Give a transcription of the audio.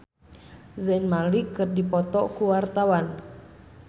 Desy Ratnasari jeung Zayn Malik keur dipoto ku wartawan